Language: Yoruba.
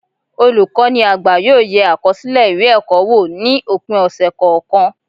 Olukọni àgbá yóò yé akọsilẹ ìwé ẹkọ wò, ni opin ọsẹ kọọkan